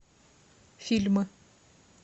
фильмы